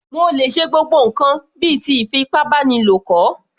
Mo lè ṣe gbogbo ǹkan bíi ti ìfipábánilo kọ̀